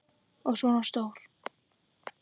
Og svona stór!